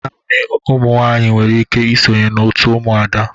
Naanị ụmụ nwaanyị nwere ike ịsonye na òtù Umuada.